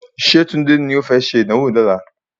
Ṣé Tunde ni o fẹ́ ṣe ìdánwò ní ọ̀la?